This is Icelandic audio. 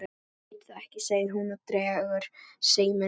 Ég veit það ekki, segir hún og dregur seiminn.